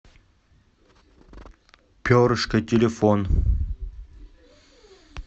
перышко телефон